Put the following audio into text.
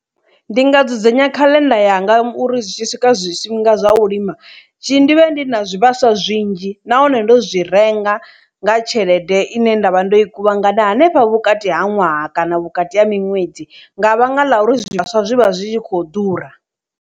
Ndi nga dzudzanya khaḽenda yanga uri zwi tshi swika zwifhinga zwa u lima tshi ndivhe ndi na zwivhaswa zwinzhi nahone ndo zwi renga nga tshelede ine nda vha ndo i kuvhangana hanefha vhukati ha ṅwaha kana vhukati ha miṅwedzi nga vhanga ḽa uri zwivhaswa zwi vha zwi tshi kho ḓura.